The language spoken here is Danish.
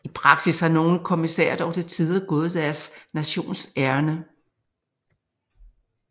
I praksis har nogle kommissærer dog til tider gået deres nations ærinde